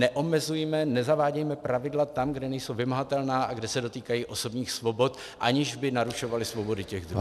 Neomezujme, nezavádějme pravidla tam, kde nejsou vymahatelná a kde se dotýkají osobních svobod, aniž by narušovala svobodu těch druhých.